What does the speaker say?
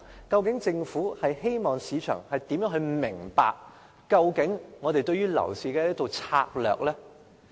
究竟政府希望市場如何理解當局對樓市的策略？